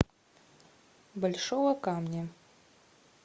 большого камня